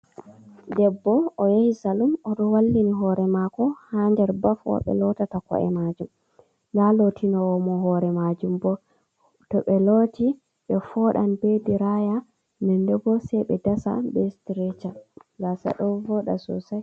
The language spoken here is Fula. Ɗebbo o yahi salum oɗo wallini hore mako ha nder baff wa be lotata ko’e majum. Ɗa lotinowo mo hore majum bo, to be lotti be fooɗan be diraya ɗen ɗe bo se be dasa be sitireca gasa do vooda sosai.